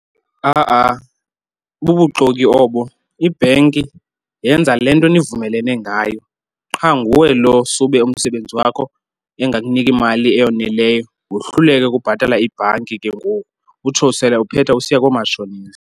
Ha-a bubuxoki obo, ibhenki yenza le nto nivumelene ngayo, qha nguwe lo sube umsebenzi wakho engakuniki imali eyoneleyo wohluleke ukubhatala ibhanki. Ke ngoku utsho sele uphetha usiya koomatshonisa.